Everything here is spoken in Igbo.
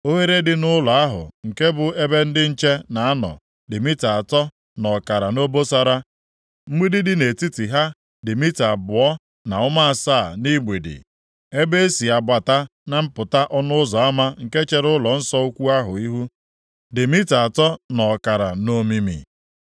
Oghere dị nʼụlọ ahụ nke bụ ebe ndị nche na-anọ dị mita atọ nʼọkara nʼobosara. Mgbidi dị nʼetiti ha dị mita abụọ na ụma asaa nʼigbidi. Ebe e si abata na mpụta ọnụ ụzọ ama nke chere ụlọnsọ ukwu ahụ ihu, dị mita atọ nʼọkara nʼomimi.